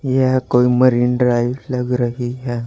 यह कोई Marine Drive लग रही है।